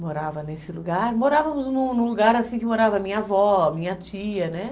Morava nesse lugar, morávamos num lugar assim que morava minha avó, minha tia, né?